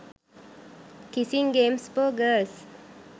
kissing games for girls